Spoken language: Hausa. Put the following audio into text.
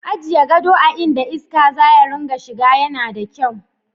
Ajiye gado a inda iska za ta dinga shiga yana da kyau.